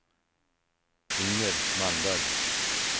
Inger Malmberg